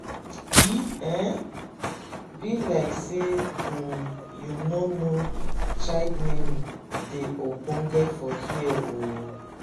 e um be like say um you no know child naming dey ogbonge for here um.